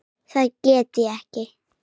Það gekk ekki